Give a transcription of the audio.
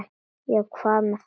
Já, hvað með þær?